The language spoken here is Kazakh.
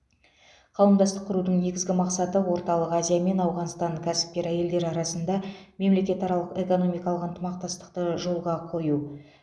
қауымдастық құрудың негізгі мақсаты орталық азия мен ауғанстан кәсіпкер әйелдері арасында мемлекетаралық экономикалық ынтымақтастықты жолға қою